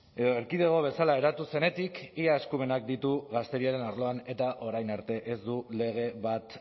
edo erkidego bezala eratu zenetik ia eskumenak ditu gazteriaren arloan eta orain arte ez du lege bat